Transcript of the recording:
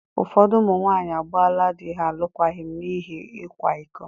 Ụfọdụ ụmụ nwaanyị agbaala di ha alụkwaghịm n’ihi ịkwa iko.